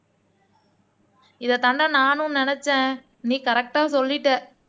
இதைத்தாண்டா நானும் நினைச்சேன் நீ கரெக்ட்டா சொல்லிட்ட